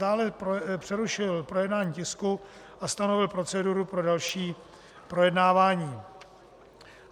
Dále přerušil projednání tisku a stanovil proceduru pro další projednávání.